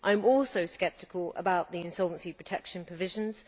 I am also sceptical about the insolvency protection provisions.